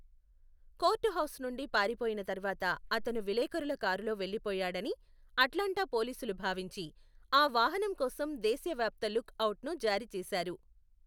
Court house నుండి పారిపోయిన తర్వాత అతను విలేఖరుల కారులో వెళ్లిపోయాడని అట్లాంటా పోలీసులు భావించి, ఆ వాహనం కోసం దేశవ్యాప్త లుక్ అవుట్ను జారీ చేశారు.